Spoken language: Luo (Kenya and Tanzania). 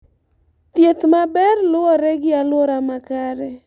Thieth maber luwore gi aluora makare